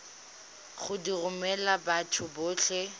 go di romela batho botlhe